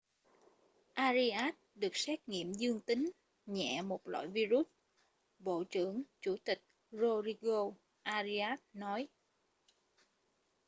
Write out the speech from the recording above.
arias được xét nghiệm dương tính nhẹ một loại vi-rút bộ trưởng chủ tịch rodrigo arias nói